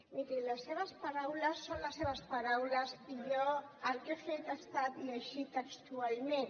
miri les seves paraules són les seves paraules i jo el que he fet ha estat llegir les textualment